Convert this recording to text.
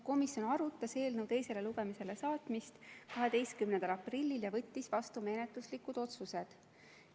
Komisjon arutas eelnõu teisele lugemisele saatmist 18. aprillil ja võttis vastu menetluslikud otsused.